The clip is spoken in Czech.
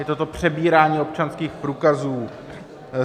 Je to přebírání občanských průkazů.